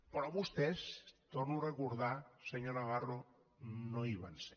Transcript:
però vostès ho torno a recordar senyor navarro no hi van ser